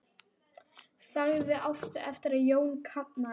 Saga Ástu eftir Jón Kalman.